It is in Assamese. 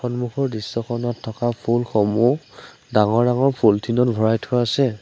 সন্মুখৰ দৃশ্যখনত থকা ফুলসমূহ ডাঙৰ ডাঙৰ পলিথিন ত ভৰাই থোৱা আছে।